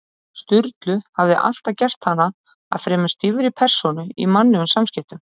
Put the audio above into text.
Sturlu hafði alltaf gert hana að fremur stífri persónu í mannlegum samskiptum.